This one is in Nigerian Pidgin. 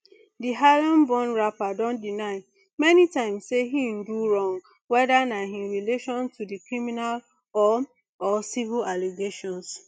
di harlemborn rapper don deny many times say e do wrong whether na in relation to di criminal or or civil allegations